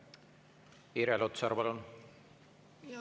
Irja Lutsar, palun!